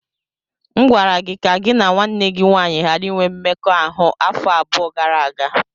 M gwara gị ka gị na nwanne gị nwanyị ghara inwe mmekọahụ afọ abụọ gara aga!